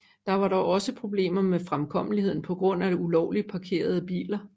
Der var dog også problemer med fremkommeligheden på grund af ulovligt parkerede biler